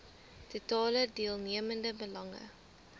totale deelnemende belange